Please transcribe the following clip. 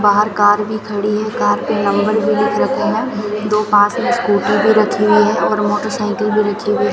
बाहर कार भी खड़ी है कार पे नंबर भी लिख रखे हैं दो पास में स्कूटी भी रखी हुई है और मोटरसाइकिल भी रखी हुई --